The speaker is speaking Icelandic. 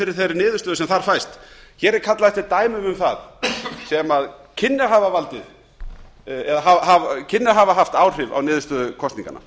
fyrir þeirri niðurstöðu sem þar fæst hér er kallað eftir dæmum um það sem kynni að hafa haft áhrif á niðurstöður kosninganna